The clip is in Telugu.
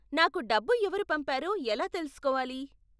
నాకు డబ్బు ఎవరు పంపారో ఎలా తెలుసుకోవాలి?